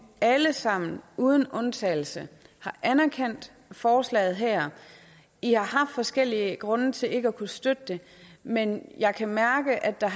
alle sammen uden undtagelse har anerkendt forslaget her i har haft forskellige grunde til ikke at kunne støtte det men jeg kan mærke at der